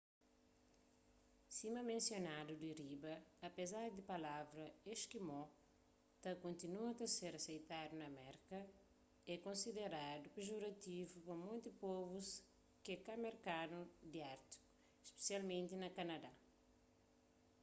sima mensionadu di riba apézar di palavra eskimó ta kontinua ta ser aseitadu na merka é konsiderandu pejorativu pa monti povus ke ka merkanu di ártiku spesialmenti na kanadá